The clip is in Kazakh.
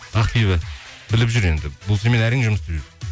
ақбибі біліп жүр енді бұл сенімен әрең жұмыс істеп жүр